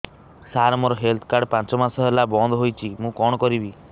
ସାର ମୋର health card ପାଞ୍ଚ ମାସ ହେଲା ବଂଦ ହୋଇଛି ମୁଁ କଣ କରିବି